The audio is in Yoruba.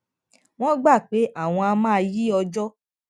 wón gbà pé àwọn á máa yí ọjó